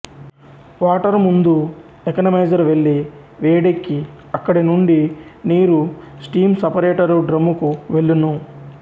water ముందు economiser వెళ్లి వేడెక్కిఅక్కడి నుండి నీరుస్టీము సపరేటరు డ్రమ్ముకు వెళ్ళును